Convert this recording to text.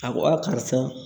A ko karisa